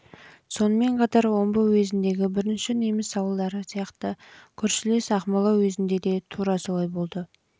сонымен қатар омбы уезіндегі бірінші неміс ауылдары сияқты көршілес ақмола уезінде де тура солай болды